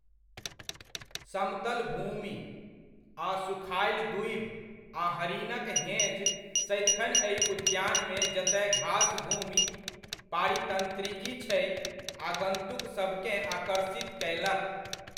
समतल भूमि, सुखायल दूबि आ हरिनक हेँज सदिखन एहि उद्यानमे जतय घासभूमि पारीतंत्रिकी छै, आगन्तुकसभकेँ आकर्षित कयलक।